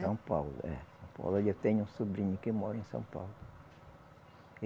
São Paulo, é. Eu tenho um sobrinho que mora em São Paulo.